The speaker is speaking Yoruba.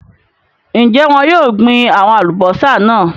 Ń jẹ́ wọn yìí ó gbin àwọn Alubọ́sá náà